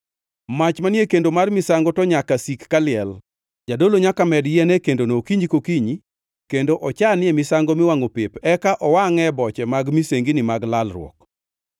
Mach manie kendo mar misango to nyaka sik kaliel. Jadolo nyaka med yien e kendono okinyi kokinyi kendo ochanie misango miwangʼo pep eka owangʼe boche mag misengini mag lalruok. + 6:12 Ma ne en misango mar kelo kwe.